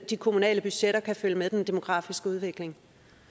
de kommunale budgetter kan følge med den demografiske udvikling